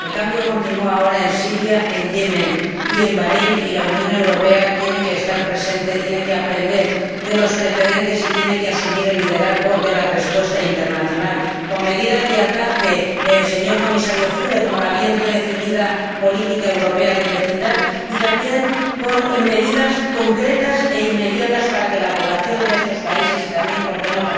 El cambio continúa ahora en Siria, en Yemen y en Bahréin, y la Unión Europea tiene que estar presente, tiene que aprender de los precedentes y tiene que asumir el liderazgo de la respuesta internacional, con medidas de alcance, señor Comisario Füle, como la bien redefinida política europea de vecindad, y también con medidas concretas e inmediatas, para que la población de estos países y también ¿por qué no?